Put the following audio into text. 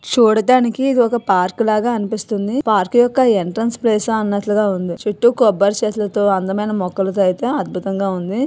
చూడడానికి ఇది ఒక పార్క్ లాగా అనిపిస్తుంది. పార్క్ యొక్క ఎంట్రన్స్ ప్లేస అన్నట్లుగా ఉంది. చుట్టూ కొబ్బరి చెట్లతో అందమైన మొక్కలతో అయితే అద్భుతంగా ఉంది.